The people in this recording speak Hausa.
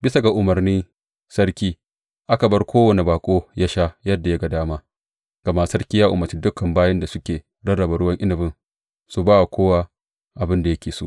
Bisa ga umarnin sarki, aka bar kowane baƙo yă sha yadda ya ga dama, gama sarki ya umarci dukan bayin da suke rarraba ruwan inabin su ba wa kowa abin da yake so.